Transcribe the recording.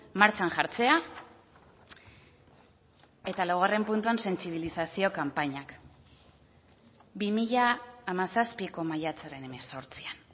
martxan jartzea eta laugarren puntuan sentsibilizazio kanpainak bi mila hamazazpiko maiatzaren hemezortzian